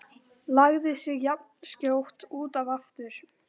Lagði sig jafnskjótt út af aftur.